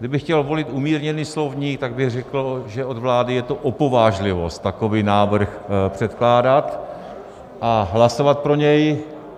Kdybych chtěl volit umírněný slovník, tak bych řekl, že od vlády je to opovážlivost takový návrh předkládat a hlasovat pro něj.